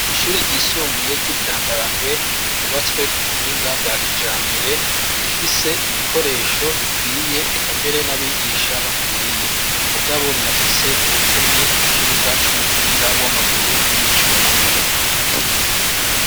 Ishure ryisumbuye ry'ibyambarangwe ryubatswe ku buhinga bwa kijambere rifise ibikoresho bikwiye ekambere n'abigisha bakwiye mugabo rirafise ubukene bw'ikibuga c'umupira w'amaguru n'ico amaboko.